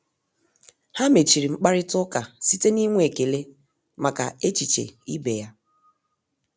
Ha mechiri mkparịta ụka site n'inwe ekele maka echiche ibe ya.